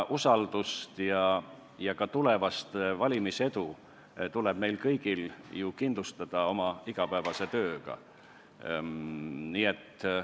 Usaldust ja ka tulevast valimisedu tuleb meil kõigil ju kindlustada oma igapäevase tööga.